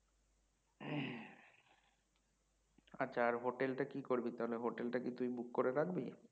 আচ্ছা আর হোটেল তা কি করবি তাহলে হোটেল টা কি book করে রাখবি?